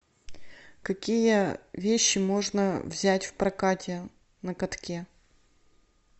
какие вещи можно взять в прокате на катке